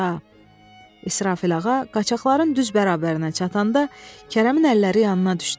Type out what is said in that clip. İsrafil ağa qaçaqların düz bərabərinə çatanda Kərəmin əlləri yanına düşdü.